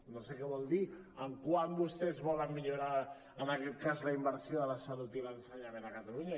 no sé què vol dir en quant vostès volen millorar en aquest cas la inversió de la salut i l’ensenyament a catalunya